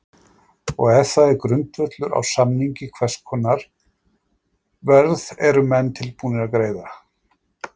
Og ef það er grundvöllur á samningi hvers konar verð eru menn tilbúnir að greiða?